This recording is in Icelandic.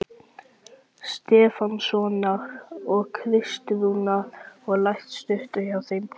Stefánssonar og Kristrúnar, og lært að stauta hjá þeim.